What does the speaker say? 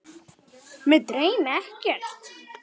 Mig dreymdi ekkert.